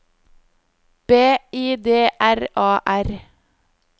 B I D R A R